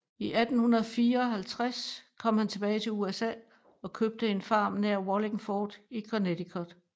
I 1854 kom han tilbage til USA og købte en farm nær Wallingford i Connecticut